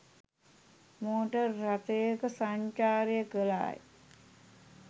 Motor රථයක සංචාරය කළාය.